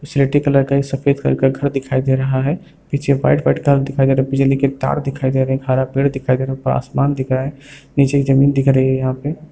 सिलेटी कलर का एक सफेद कलर का घर दिखाई दे रहा है पीछे व्हाइट व्हाइट कलर दिखाई दे रहा है पीछे लगे तार दिखाई दे रहे हैं हरा पेड़ दिखाई दे रहा थोड़ा आसमान दिख रहा है नीचे की जमीन दिख रही है यहाँ पे।